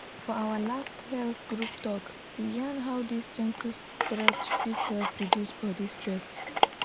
for our last health group talk we yarn how this gentle stretch fit help reduce body stress.